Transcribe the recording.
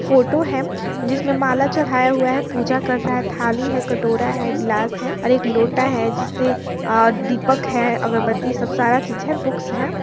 Photo है जिसमें माला चढ़ाया हुआ है पूजा कर रहा है थाली है कटोरा है गिलास है और एक लोटा है जिससे अ दीपक है अगरबत्ती ई सब सारा चीज है बुक्स है।